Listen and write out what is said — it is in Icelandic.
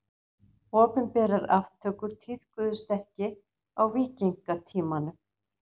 Opinberar aftökur tíðkuðust ekki á víkingatímanum.